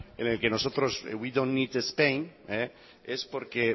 en el que nosotros we dont need spain es porque